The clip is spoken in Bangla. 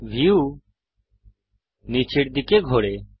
ভিউ নীচের দিকে ঘোরে